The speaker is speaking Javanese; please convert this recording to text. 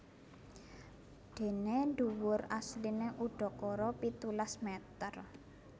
Déné dhuwur asliné udakara pitulas mèter